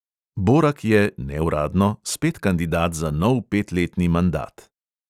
Borak je – neuradno – spet kandidat za nov petletni mandat.